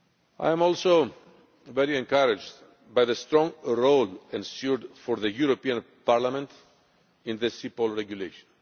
I am also very encouraged by the strong role ensured for the European Parliament in this CEPOL regulation.